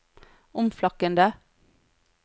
omflakkende